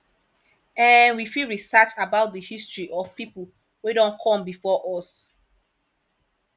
um we fit research about di history of pipo wey don come before us